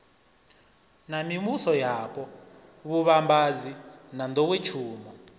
na mivhusoyapo vhuvhambadzi na nḓowetshumo